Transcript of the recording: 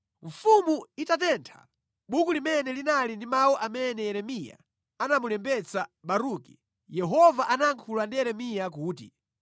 Mfumu itatentha buku limene linali ndi mawu amene Yeremiya anamulembetsa Baruki, Yehova anayankhula ndi Yeremiya kuti,